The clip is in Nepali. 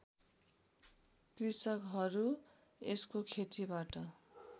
कृषकहरू यसको खेतीबाट